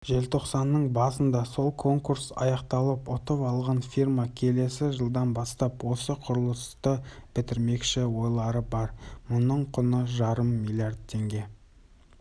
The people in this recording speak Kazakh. желтоқсанның басында сол конкурс аяқталып ұтып алған фирма келесі жылдан бастап осы құрылысты бітірмекші ойлары бар мұның құны жарым миллиард теңге